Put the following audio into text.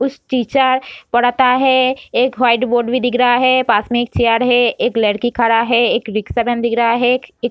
उस टीचर पढ़ता है | एक वाइट बोर्ड भी दिख रहा है | पास मै एक चेयर है | एक लड़की खड़ा है | एक रिक्सा मैन दिख रहा है | एक --